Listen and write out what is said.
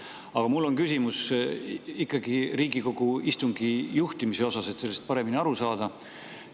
Aga mul on ikkagi küsimus Riigikogu istungi juhtimise kohta, et sellest paremini aru saada.